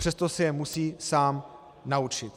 Přesto se je musí sám naučit.